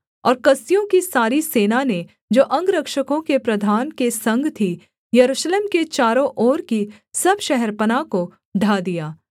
और कसदियों की सारी सेना ने जो अंगरक्षकों के प्रधान के संग थी यरूशलेम के चारों ओर की सब शहरपनाह को ढा दिया